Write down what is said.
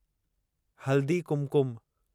Haldi Kumkum